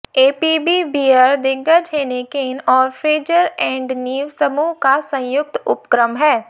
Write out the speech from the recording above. APB beer दिग्गज Heineken और Fraser and Neave समूह का संयुक्त उपक्रम है